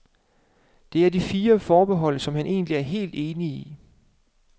Det er de fire forbehold, som han egentlig er helt enig i.